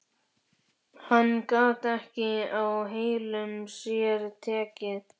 Hann gat ekki á heilum sér tekið.